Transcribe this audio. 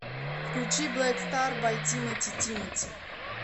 включи блэк стар бай тимати тимати